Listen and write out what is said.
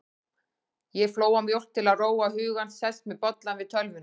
Ég flóa mjólk til að róa hugann, sest með bollann við tölvuna.